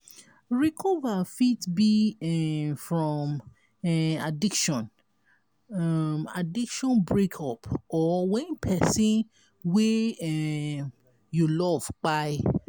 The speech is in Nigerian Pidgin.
recover fit be um from um addiction um addiction breakup or when person wey um you love kpai